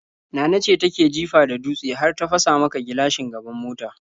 Nana ce take jifa da dutse har ta fasa maka gilashin gaban mota.